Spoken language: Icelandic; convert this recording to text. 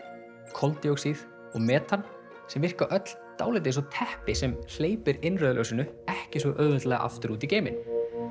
koldíoxíð og metan sem virka öll dálítið eins og teppi sem hleypir innrauða ljósinu ekki svo auðveldlega aftur út í geiminn